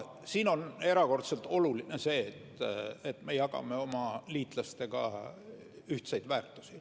Siin on erakordselt oluline see, et me jagame oma liitlastega ühiseid väärtusi.